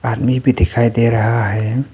हमें भी दिखाई दे रहा है।